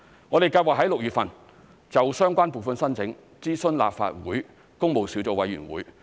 我們計劃在6月份就相關撥款申請諮詢立法會工務小組委員會。